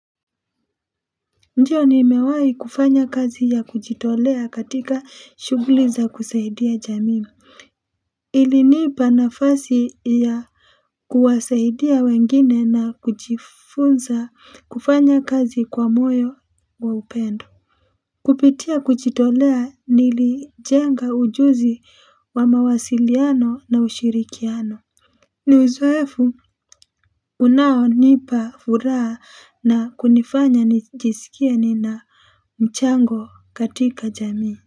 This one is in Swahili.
Ndiyo nimewai kufanya kazi ya kujitolea katika shuguliza kusaidia jami ilinipa nafasi ya kuwasaidia wengine na kujifunza kufanya kazi kwa moyo wa upendo kupitia kujitolea nilijenga ujuzi wa mawasiliano na ushirikiano niuzoefu unao nipa furaa na kunifanya nijisikie nina mchango katika jamii.